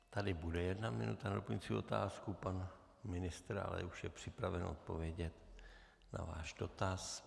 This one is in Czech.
Tady bude jedna minuta na doplňující otázku, pan ministr ale už je připraven odpovědět na váš dotaz.